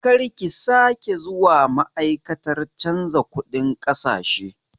Karki sake zuwa ma'aikatar canza kuɗin ƙasashe!